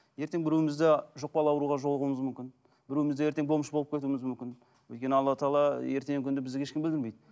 ертең біреуіміз де жұқпалы ауруға жолығуымыз мүмкін біреуіміз де ертең бомж болып кетуіміз мүмкін өйткені алла тағала ертеңгі күні бізге ешкімге білдірмейді